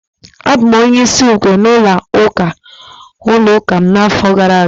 Abụ m onye isi ukwe n'ụlọ ụka m n'afọ gara aga